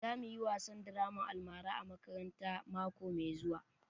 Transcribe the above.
Za mu yi wasan draman almara a makaranta mako mai zuwa